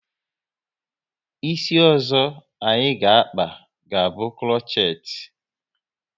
Isi ọzọ anyị ga akpa, ga bụ krochet